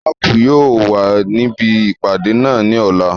Makun yóò wà níbi ìpàdé náà ní ọ̀la